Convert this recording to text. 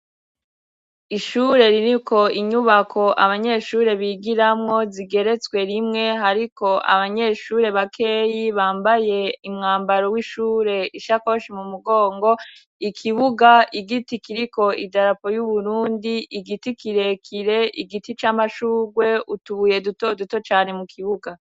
Ishure ririko inyubako abanyeshure bigiramwo zigeretswe rimwe hariko abanyeshure bakeyi bambaye imwambaro w'ishure, ishakoshi m'umugongo, ikibuga, igiti kiriko idarapo y'uburundi, igiti kirekire igiti c'amashurwe, utubuye dutoduto cane mukibuga.